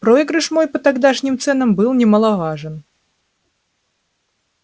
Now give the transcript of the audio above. проигрыш мой по тогдашним ценам был немаловажен